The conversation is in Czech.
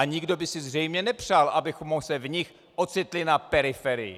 A nikdo by si zřejmě nepřál, abychom se v nich ocitli na periferii.